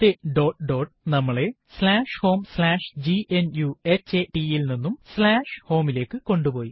വിവരണം dot dotനമ്മളെ homegnuhata വിവരണം സ്ലാഷ് ഹോം സ്ലാഷ് gnuhata യിൽ നിന്നും home വിവരണം സ്ലാഷ് home ലേക്ക് കൊണ്ട് പോയി